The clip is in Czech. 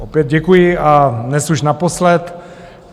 Opět děkuji, a dnes už naposled.